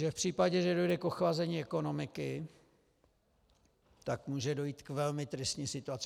Že v případě, že dojde k ochlazení ekonomiky, tak může dojít k velmi tristní situaci.